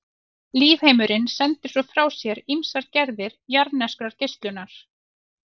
Lífheimurinn sendir svo frá sér ýmsar gerðir jarðneskrar geislunar.